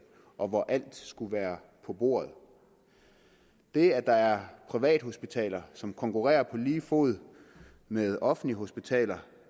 og hvor alt skulle være på bordet det at der er privathospitaler som konkurrerer på lige fod med offentlige hospitaler